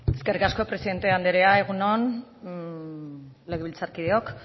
eskerrik asko presidente anderea egun on legebiltzarkideok